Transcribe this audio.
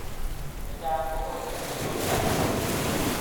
Chechang kokokunu samiswokik ab tukun.